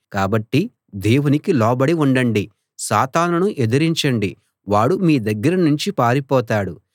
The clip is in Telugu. కాబట్టి దేవునికి లోబడి ఉండండి సాతానును ఎదిరించండి వాడు మీ దగ్గరనుంచి పారిపోతాడు